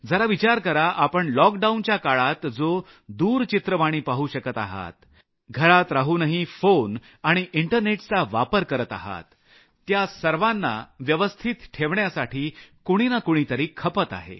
जरा विचार करा आपण लॉकडाऊनच्या काळात जो दूरचित्रवाणी पाहू शकत आहात घरात राहूनही फोन आणि इंटरनेटचा वापर करत आहात त्या सर्वांना व्यवस्थित ठेवण्यासाठी कुणी ना कुणी तरी खपत आहे